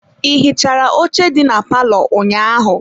Ị hichara oche dị na palọ ụnyaahụ?